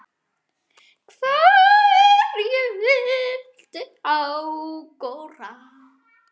Hverju viltu áorka?